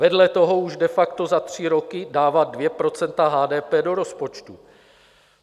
Vedle toho už de facto za tři roky dávat 2 % HDP do rozpočtu.